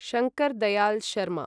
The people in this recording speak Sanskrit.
शंकर् दयाल् शर्मा